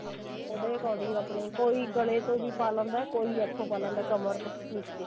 ਉਹਦੇ according ਆਪਣੇ ਕੋਈ ਗਲੇ ਤੋਂ ਵੀ ਪਾ ਲੈਂਦਾ ਕੋਈ ਇਥੋਂ ਪਾ ਲੈਂਦਾ ਕਮਰ ਤੋਂ ਨੀਚੇ